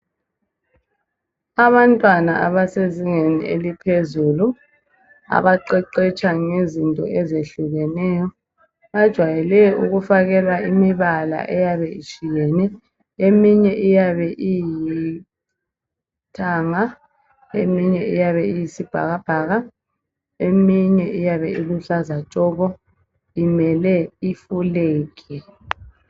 Abantwana abasezingeni eliphezulu abaqeqetsha ngezinto ezehlukeneyo bajayele ukufakelwa imibala etshiyeneyo. Eminye iyabe ilithanga, eyisibhakabhaka leluhlaza tshoko imele ifulegi.